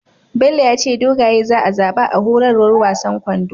Bello yace dogaye za a zaba a horarwar wasan kwando